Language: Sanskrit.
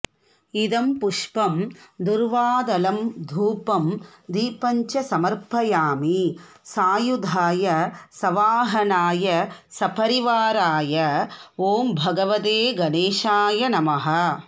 इदं पुष्पं दुर्वादलं धूपं दीपञ्च समर्पयामि सायुधाय सवाहनाय सपरिवाराय ॐ भगवते गणेशाय नमः